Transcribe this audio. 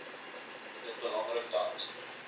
dit belangrik dat